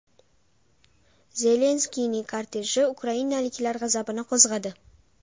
Zelenskiyning korteji ukrainaliklar g‘azabini qo‘zg‘adi .